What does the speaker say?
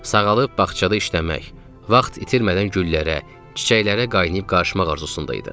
Sağalıb bağçada işləmək, vaxt itirmədən güllərə, çiçəklərə qaynayıb qarışmaq arzusunda idim.